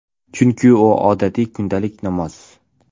Chunki, u odatiy, kundalik namoz.